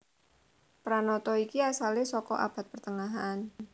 Pranata iki asalé saka Abad Tengahan